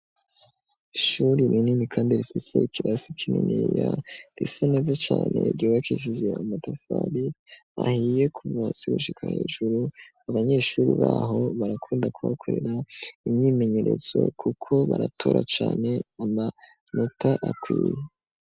Ishuri rinini, kandi rikwitse ikirasi kinini ya resa neze cane ryobakishije amatafari ahiye kuvasigushika hejuru abanyeshuri baho barakunda kubakorera imyimenyerezo, kuko baratora cane amanota akwiye.